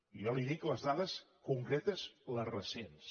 jo li dic les dades concretes les recents